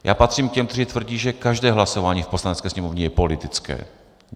Já patřím k těm, kteří tvrdí, že každé hlasování v Poslanecké sněmovně je politické.